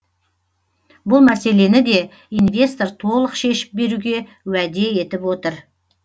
бұл мәселені де инвестор толық шешіп беруге уәде етіп отыр